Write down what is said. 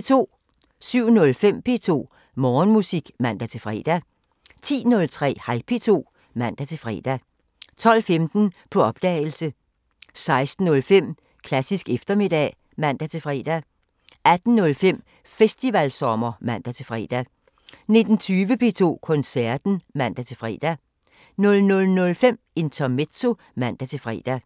07:05: P2 Morgenmusik (man-fre) 10:03: Hej P2 (man-fre) 12:15: På opdagelse 16:05: Klassisk eftermiddag (man-fre) 18:05: Festivalsommer (man-fre) 19:20: P2 Koncerten (man-fre) 00:05: Intermezzo (man-fre)